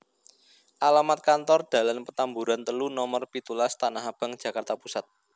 Alamat Kantor Dalan Petamburan telu nomer pitulas Tanahabang Jakarta Pusat